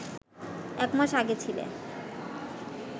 এক মাস আগে ছিলে